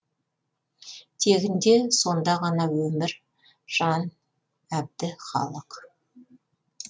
тегінде сонда ғана өмір жан әбді халық